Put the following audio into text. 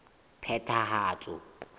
phethahatso